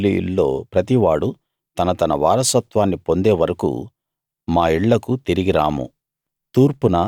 ఇశ్రాయేలీయుల్లో ప్రతివాడూ తన తన వారసత్వాన్ని పొందేవరకూ మా ఇళ్ళకు తిరిగి రాము